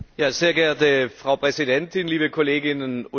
Frau Präsidentin, liebe Kolleginnen und Kollegen!